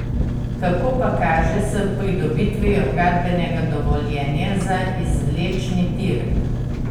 Kako pa kaže s pridobitvijo gradbenega dovoljenja za izvlečni tir?